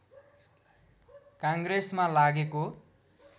काङ्ग्रेसमा लागेको